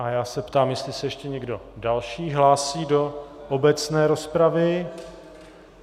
A já se ptám, jestli se ještě někdo další hlásí do obecné rozpravy.